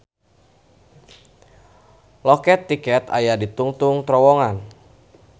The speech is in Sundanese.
Loket tiket aya di tungtung terowongan.